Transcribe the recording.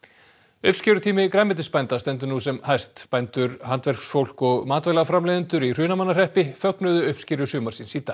uppskerutími grænmetisbænda stendur nú sem hæst bændur handverksfólk og matvælaframleiðendur í Hrunamannahreppi fögnuðu uppskeru sumarsins í dag